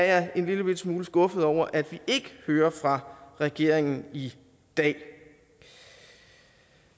er en lillebitte smule skuffet over at vi ikke hører fra regeringen i dag